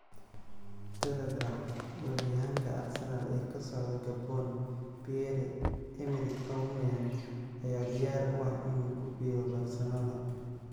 (Telegraph) Weeraryahanka Arsenal ee ka socda Gabon, Pierre-Emerick Aubameyang, ayaa diyaar u ah inuu ku biiro Barcelona.